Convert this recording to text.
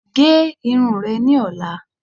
Gé irun re ni ọ̀la